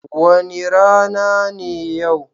Wani rana ne yau?